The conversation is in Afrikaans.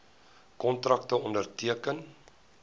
kontrakte onderteken